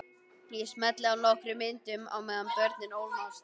Ég smelli af nokkrum myndum á meðan börnin ólmast.